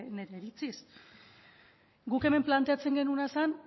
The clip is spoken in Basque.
nire iritziz guk hemen planteatzen genuena zen